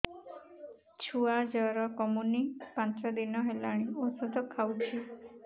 ଛୁଆ ଜର କମୁନି ପାଞ୍ଚ ଦିନ ହେଲାଣି ଔଷଧ ଖାଉଛି